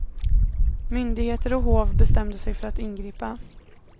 Myndigheter och hov bestämde sig för att ingripa.